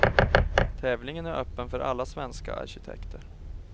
Tävlingen är öppen för alla svenska arkitekter.